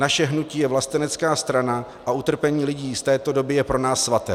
Naše hnutí je vlastenecká strana a utrpení lidí z této doby je pro nás svaté.